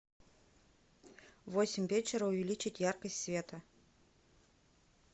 в восемь вечера увеличить яркость света